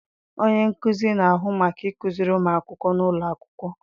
Onye nkuzi na-ahụ maka ịkụziri ụmụ akwụkwọ n'ụlọ akwụkwọ.